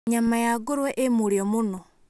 Nyama ya ngũrũwe ĩ mũrio mũno.